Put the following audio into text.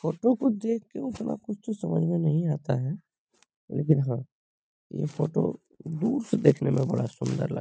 photo को देख के उतना कुछ तो समझ में नहीं आता है लेकिन हाँ ये फोटो दूर से देखने में बड़ा सुन्दर लगता --